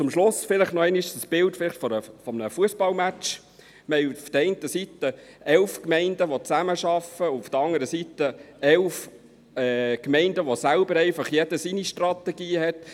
Zum Schluss vielleicht noch einmal das Bild von einem Fussballmatch: Wir haben auf der einen Seite elf Gemeinden, die zusammenarbeiten, und auf der anderen Seite elf Gemeinden, die je ihre eigenen Strategien haben.